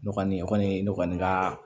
Ne kɔni ne kɔni ka